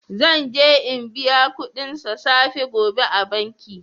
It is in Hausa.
Zan je n'biya kudin sa safe gobe a'banki.